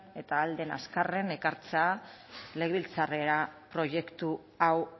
eta ahal den azkarren ekartzea legebiltzarrera proiektu hau